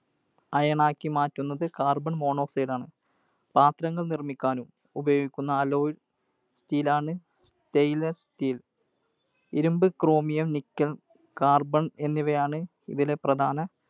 Iron ആക്കി മാറ്റുന്നത് Carbonmonoxide ആണ്. പാത്രങ്ങൾ നിർമ്മിക്കാൻ ഉപയോഗിക്കുന്ന alloy steel ആണ്, Stainless steel. ഇരുമ്പ്, Chromium, Nickel, Carbon എന്നിവയാണ് ഇതിലെ പ്രധാന